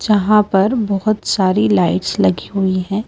यहां पर बहुत सारी लाइट्स लगी हुई हैं।